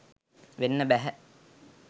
වෙන්න බැහැ.